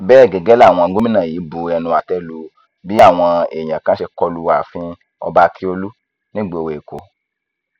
bẹẹ gẹgẹ làwọn gómìnà yìí bu ẹnu àtẹ lu bí àwọn èèyàn kan ṣe kọlu ààfin ọba ákíọlù nígboro èkó